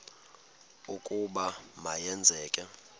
ukuba ma yenzeke